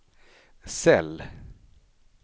cell